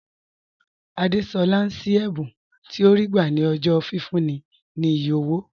Àdésolá ń ṣí ẹ̀bùn tí ó rí gbà ní ọjọ́ fífúnni ní iye owó